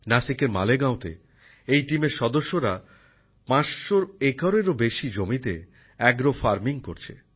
নাসিকের মালেগাঁওতে এই দলের সদস্যরা ৫০০ একরেরও বেশি জমিতে অ্যাগ্রো ফার্মিং করছে